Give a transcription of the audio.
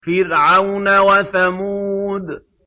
فِرْعَوْنَ وَثَمُودَ